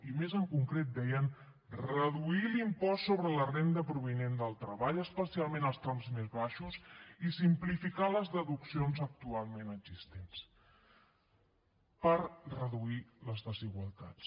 i més en concret deien reduir l’impost sobre la renda provinent del treball especialment els trams més baixos i simplificar les deduccions actualment existents per reduir les desigualtats